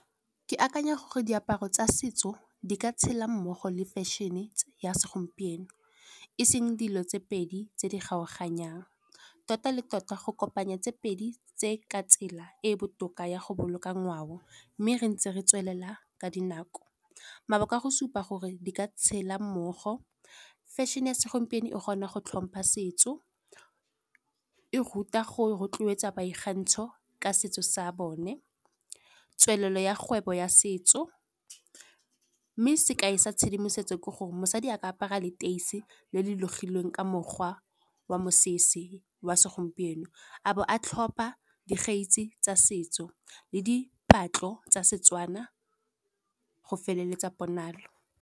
Ke akanya gore diaparo tsa setso di ka tshela mmogo le fashion-e ya segompieno, e seng dilo tse pedi tse di kgaoganyang. Tota le tota go kopanya tse pedi tse ka tsela e e botoka ya go boloka ngwao, mme re ntse re tswelela ka dinako. Mabaka a go supa gore di ka tshela mmogo fashion-e ya segompieno e kgona go tlhompha setso, e ruta go rotloetsa boikgantsho ka setso sa bone. Tswelelo ya kgwebo ya setso, mme sekai sa tshedimosetso ke gore, mosadi a ka apara leteisi le le logilweng ka mokgwa wa mosese wa segompieno. Abo a tlhopa tsa setso le di patlo tsa Setswana go feleletsa ponalo.